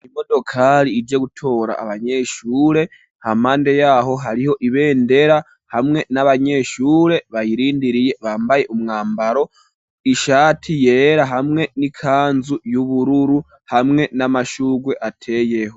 Imodokari ije gutora abanyeshure, hampande yaho hariho ibendera hamwe n'abanyeshure bayirindiriye, bambaye umwambaro ishati yera hamwe n'ikanzu y'ubururu, hamwe n'amashugwe ateyeho.